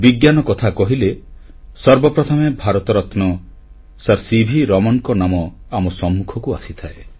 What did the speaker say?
ବିଜ୍ଞାନ କଥା କହିଲେ ସର୍ବପ୍ରଥମେ ଭାରତରତ୍ନ ସାର୍ ସିଭି ରମଣଙ୍କ ନାମ ଆମ ସମ୍ମୁଖକୁ ଆସିଥାଏ